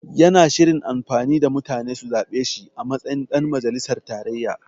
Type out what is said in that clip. Yana shirin amfani da mutane su zaɓe shi a matsayin ɗan majalisar tarayya.